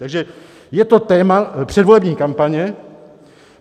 Takže je to téma předvolební kampaně.